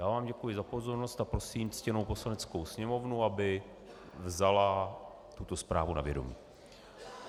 Já vám děkuji za pozornost a prosím ctěnou Poslaneckou sněmovnu, aby vzala tuto zprávu na vědomí.